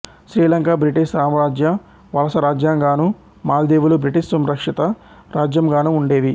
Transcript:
Sri Lanka British సామ్రాజ్య వలస రాజ్యంగానూ మాల్దీవులు British సంరక్షిత రాజ్యంగానూ ఉండేవి